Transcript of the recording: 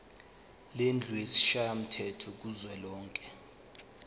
lendlu yesishayamthetho kuzwelonke